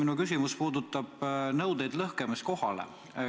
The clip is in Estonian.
Minu küsimus puudutab nõudeid lõhkamiskohale.